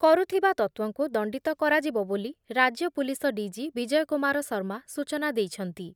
କରୁଥିବା ତତ୍ତ୍ଵଙ୍କୁ ଦଣ୍ଡବତ କରାଯିବ ବୋଲି ରାଜ୍ୟ ପୋଲିସ ଡିଜି ବିଜୟ କୁମାର ଶର୍ମା ସୂଚନା ଦେଇଛନ୍ତି ।